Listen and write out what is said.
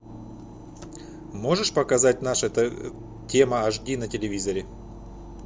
можешь показать наша тема аш ди на телевизоре